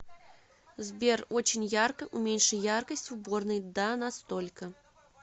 сбер очень ярко уменьши яркость в уборной да на столько